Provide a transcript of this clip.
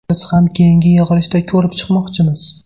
Biz ham keyingi yig‘ilishda ko‘rib chiqmoqchimiz.